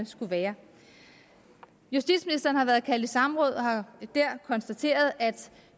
skulle være justitsministeren har været kaldt i samråd og har der konstateret at